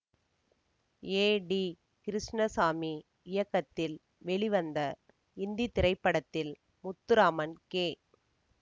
ஏ T Krishnaswamy இயக்கத்தில் வெளிவந்த இந்தி திரைப்படத்தில் முத்துராமன் கே